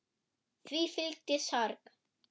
Því fylgi sorg.